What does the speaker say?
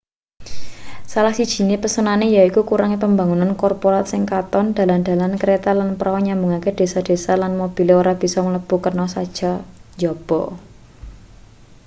salah siji pesonane yaiku kurange pembangunan korporat sing katon dalan-dalan kereta lan prau nyambungake desa-desa lan mobil ora bisa mlebu kana saka njaba